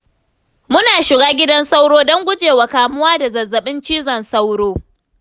Muna shiga gidan sauro, don gujewa kamuwa da zazzaɓin cizon sauro.